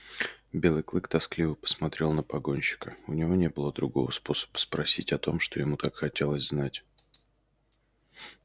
белый клык тоскливо посмотрел на погонщика у него не было другого способа спросить о том что ему так хотелось знать